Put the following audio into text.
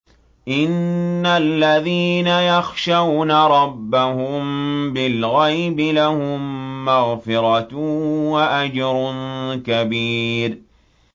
إِنَّ الَّذِينَ يَخْشَوْنَ رَبَّهُم بِالْغَيْبِ لَهُم مَّغْفِرَةٌ وَأَجْرٌ كَبِيرٌ